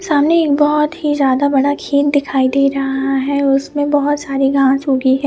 सामने एक बोहोत ही ज्यादा बड़ा वाला झील दिखाई दे रहा है और उसमे बोहोत साड़ी घास उगी हुई है।